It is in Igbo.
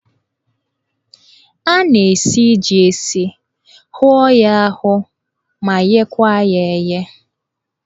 A na-esi jí esi, hụọ ya ahụọ ma ghekwa ya eghe.